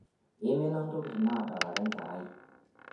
imina ntokitin naadalare enkerai